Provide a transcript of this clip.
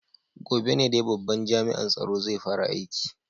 Gobe ne dai babban jami'an tsaro zai fara aiki.